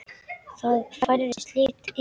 Það færðist líf í Halla.